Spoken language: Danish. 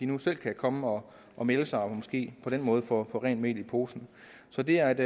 nu selv at komme og og melde sig og måske på den måde få rent mel i posen så det er et